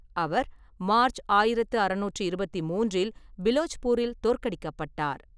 அவர் March ஆயிரத்து அறுநூற்றி இருபத்தி மூன்றில் பிலோச்பூரில் தோற்கடிக்கப்பட்டார்.